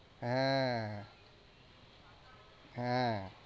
হ্যাঁ হ্যাঁ